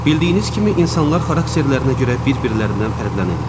Bildiyiniz kimi insanlar xarakterlərinə görə bir-birlərindən fərqlənirlər.